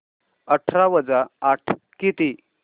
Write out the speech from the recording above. अठरा वजा आठ किती